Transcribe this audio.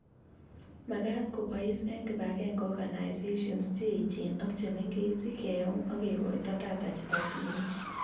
Makaat kobois eng kibagenge Organisations che echeen ak che mengeech si keuum akekoito data chebo tibiik